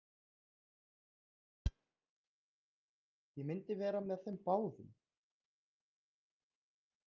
Ég myndi vera með þeim báðum!